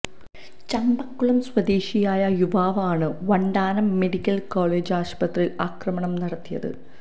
ചമ്പക്കുളം സ്വദേശിയായ യുവാവാണ് Vandanam medical college ആശുപത്രി അക്രമം നടത്തിയത്